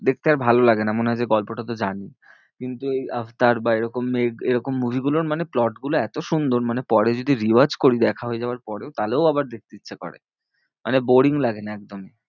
দেখতে আর ভালো লাগে না মনে হয় যে গল্পটা তো জানি কিন্তু ওই আফতার বা এরকম এরকম movie গুলোর মানে plot গুলো এতো সুন্দর মানে পরে যদি re watch করি দেখা হয়ে যাওয়ার পরেও তাহলেও আবার দেখতে ইচ্ছা করে মানে boaring লাগে না একদম,